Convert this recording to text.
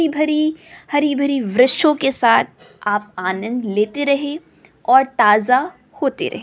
हरी भरी हरी भरी वृक्षों के साथ आप आनंद लेते रहे और ताजा होते रहे।